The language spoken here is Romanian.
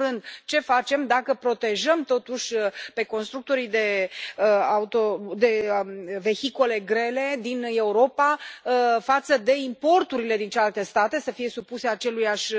În primul rând, ce facem dacă îi protejăm totuși pe constructorii de vehicule grele din Europa față de importurile din celelalte state, să fie supuse acelorași